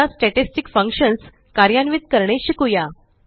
आता statistic functions कार्यान्वित करणे शिकुया